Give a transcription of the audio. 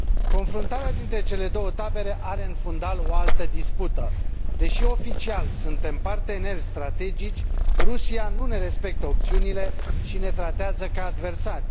Confruntarea dintre cele două tabere are în fundal o altă dispută deși oficial suntem parteneri strategici, Rusia nu ne respectă opțiunile și ne tratează ca adversari.